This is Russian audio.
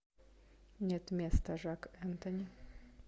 нет места жак энтони